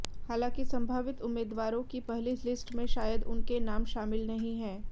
हालांकि संभावित उम्मीदवारों की पहली लिस्ट में शायद उनके नाम शामिल नहीं है